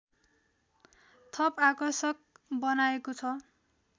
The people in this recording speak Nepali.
थप आकर्षक बनाएको छ